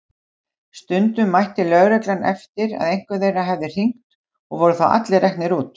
Stundum mætti lögreglan eftir að einhver þeirra hafði hringt og voru þá allir reknir út.